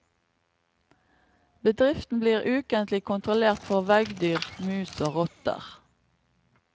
Bedriften blir ukentlig kontrollert for veggdyr, mus og rotter.